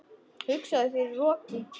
Hugsaðu þér- í roki!